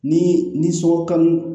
Ni ni sogo kanu